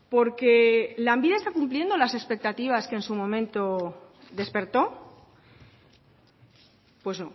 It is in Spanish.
por qué lanbide está cumpliendo las expectativas que en su momento despertó pues